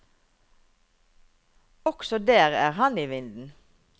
Også der er han i vinden.